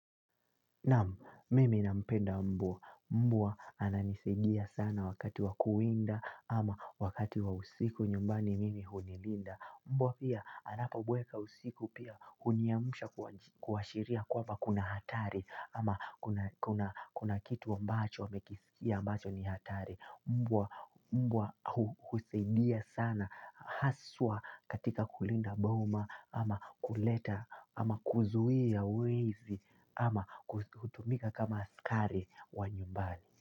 Naam, mimi na mpenda mvua. Mbwa ananisaidia sana wakati wa kuwinda ama wakati wa usiku nyumbani mimi hunilinda. Mbwa pia anapobweka usiku pia huniamusha kuashiria kwaba kuna hatari ama kuna kitu ambacho amekisikia ambacho ni hatari. Mbwa husaidia sana haswa katika kulinda boma ama kuleta ama kuzuia wezi ama hutumika kama askari wa nyumbani.